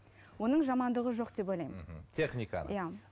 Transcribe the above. оның жамандығы жоқ деп ойлаймын мхм техниканың иә